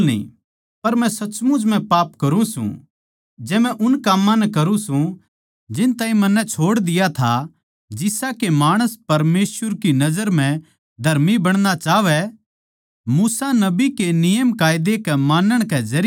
पर मै सचमुच म्ह पाप करुँ सूं जै मै उन काम्मां नै करुँ सूं जिन ताहीं मन्नै छोड़ दिया था जिसा के माणस परमेसवर की नजर म्ह धर्मी बणणा चाहवै मूसा नबी के नियमकायदा के मानण के जरिये